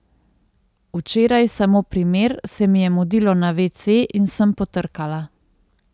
Včeraj, samo primer, se mi je mudilo na vece in sem potrkala.